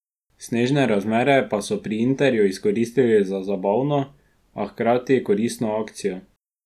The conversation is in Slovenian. Snežne razmere pa so pri Interju izkoristili za zabavno, a hkrati koristno akcijo.